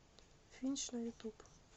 финч на ютуб